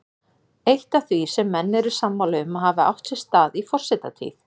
Eitt af því sem menn eru sammála um að hafi átt sér stað í forsetatíð